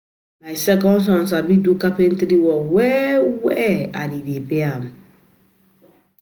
My second son sabi do carpentry work very well and e dey pay am